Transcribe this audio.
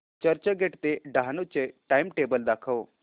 चर्चगेट ते डहाणू चे टाइमटेबल दाखव